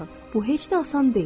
Bu heç də asan deyil.